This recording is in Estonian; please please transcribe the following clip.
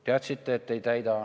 Teadsite, et ei täida.